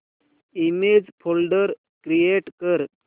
image folder create कर